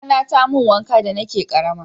kakana ta mun wanka da na ke karama